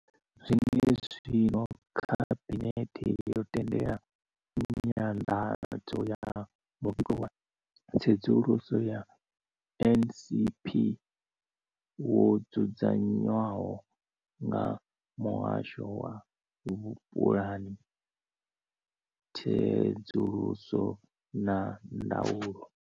Zwenezwino, Khabinethe yo tendela nyanḓadzo ya muvhigo wa tsedzuluso ya NSNP wo dzudzanywaho nga muhasho wa vhupulani, tsedzuluso na ndaulo.